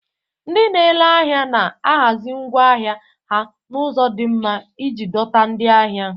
Ndị na-ere ahịa na-ahazi ngwa ahịa ha n'ụzọ di nma iji dọta ndị ahịa.